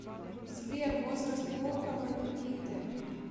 сбер возраст волкова никиты